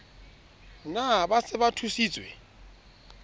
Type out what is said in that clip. na ba se ba thusitswe